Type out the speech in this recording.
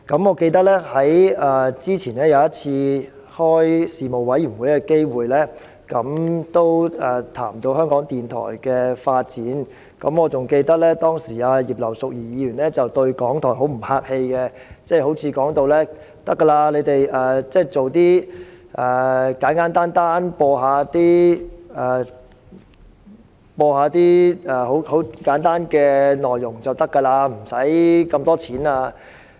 我記得在早前一次事務委員會會議上，我們也談及香港電台的發展，當時葉劉淑儀議員對港台十分不客氣，她似乎認為港台只須播放一些簡單內容，無需那麼多撥款。